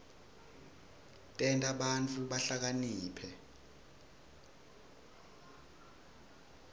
tenta bantfu bahlakaniphe